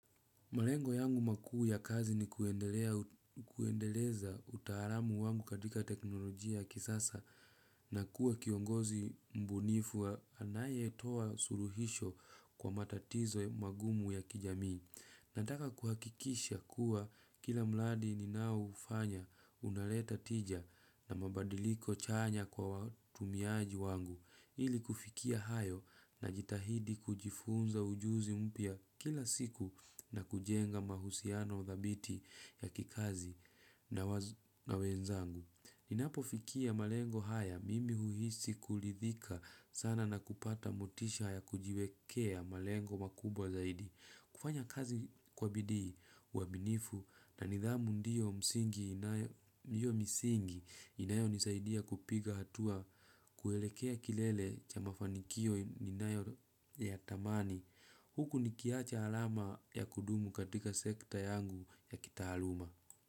Malengo yangu makuu ya kazi ni kuendelea kuendeleza utaalamu wangu katika teknolojia ya kisasa na kuwa kiongozi mbunifu wa anaye toa suluhisho kwa matatizo magumu ya kijami. Nataka kuhakikisha kuwa kila mradi ninao hufanya unaleta tija na mabadiliko chanya kwa watumiaji wangu ili kufikia hayo na jitahidi kujifunza ujuzi mpya kila siku na kujenga mahusiano dhabiti ya kikazi na wenzangu. Na wenzangu, ninapofikia malengo haya mimi huhisi kuridhika sana na kupata motisha ya kujiwekea malengo makubwa zaidi. Kufanya kazi kwa bidii uwaminifu na nidhamu ndiyo msingi inayo nisaidia kupiga hatua kuelekea kilele cha mafanikio ninayo yatamani. Huku nikiacha alama ya kudumu katika sekta yangu ya kitaaluma.